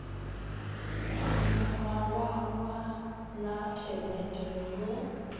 na mawanwa na themendelo yo